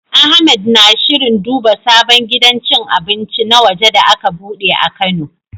Ahmed na shirin duba sabon gidan cin abinci na waje da aka bude a Kano.